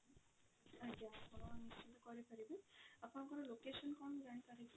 ଆଜ୍ଞା ଆପଣ ନିଶ୍ଚିନ୍ତ କରାଇ ପାରିବି ଆପଣଙ୍କ location କଣ ମୁଁ ଜାଣି ପରେ କି?